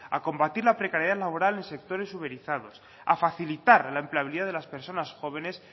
a combatir la precariedad laboral en sectores uberizados a facilitar la empleabilidad de las personas jóvenes